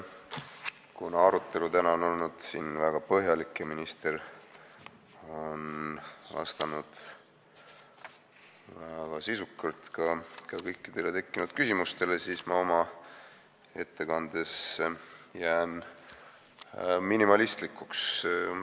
Kuna arutelu on siin täna olnud väga põhjalik ja minister on vastanud väga sisukalt ka kõikidele tekkinud küsimustele, siis ma oma ettekandes jään minimalistlikuks.